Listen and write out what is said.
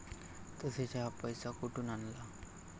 तसेच, हा पैसा कुठून आणला?